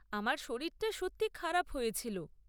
আমার শরীরটা সত্যিই খারাপ হয়েছিল।